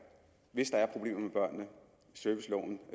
hvis der er problemer med børnene serviceloven